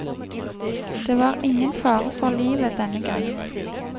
Det var ingen fare for livet denne gang.